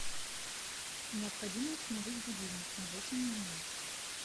необходимо установить будильник на восемь ноль ноль